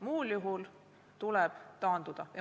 Muul juhul tuleb taanduda.